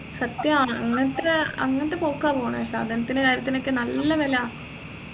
സത്യാണ് ഇന്നത്തെ അങ്ങൻത്തെ പോക്കാ പോണെ സാധനത്തിന്റെ കാര്യത്തിനൊക്കെ നല്ല വില